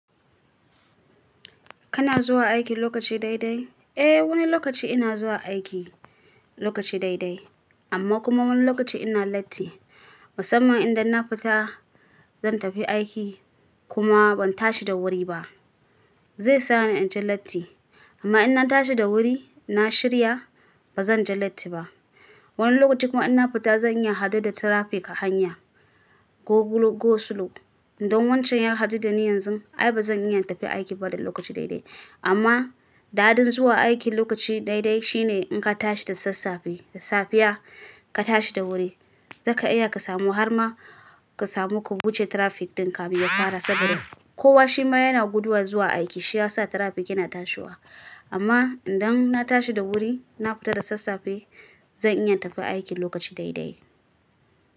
Kana zuwa aiki lokaci dai dai? Eh, wani lokaci ina zuwa aiki lokaci dai dai, amma kuma wani lokaci ina latti. Musamman idan na fita zan tafi aiki kuma ban tashi da wuri ba, zai sa ni in ji latti. Amma in na tashi da wuri, na shirya, ba zan ji latti ba. Wani lokaci kuma in na fita zan yi hadu da traffic a hanya. Go slow. Idan wancan ya haɗu da ni yanzu, ai ba zan iya in tafi aiki ba da lokaci dai dai. Amma daɗin zuwa aiki lokaci dai dai shine in ka tashi da sassafe, da safiya ka tashi da wuri, zaka iya ka samu har ma ka samu ka wuce traffic dinka finya fara. Saboda kowa shi ma yana guduwa zuwa aiki shiyasa traffic yana tashiwa. Amma idan na tashi da wuri, na fita da sassafe, zan iya tafi aiki lokaci dai dai.